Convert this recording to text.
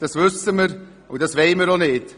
Das wissen wir, und das wollen wir auch nicht.